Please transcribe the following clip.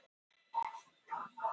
Þarf frekari vitnanna við